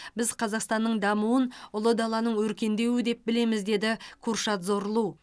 біз қазақстанның дамуын ұлы даланың өркендеуі деп білеміз деді куршад зорлу